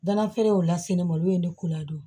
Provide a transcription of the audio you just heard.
Danafeerew la se ne ma olu ye ne ko ladon